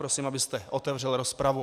Prosím, abyste otevřel rozpravu.